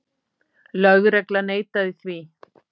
Lögregla neitaði því.